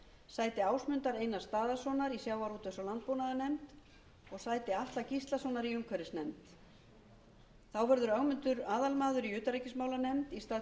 sæti ásmundar einars daðasonar í sjávarútvegs og landbúnaðarnefnd og sæti atla gíslasonar í umhverfisnefnd þá verður ögmundur aðalmaður í utanríkismálanefnd í stað guðfríðar lilju grétarsdóttur lilja